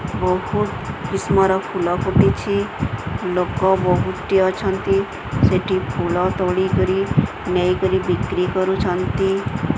ବହୁତ କିସମ ର ଫୁଲ ଫୁଟିଚି ଲୋକ ବହୁତ ଟି ଅଛନ୍ତି ସେଠି ଫୁଲ ତୋଳିକରି ନେଇକରି ବିକ୍ରି କରୁଛନ୍ତି।